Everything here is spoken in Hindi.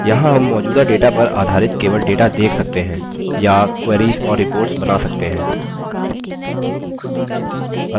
यहाँ हम मौजूदा data पर आधारित केवल data देख सकते हैं या queries और reports बना सकते हैं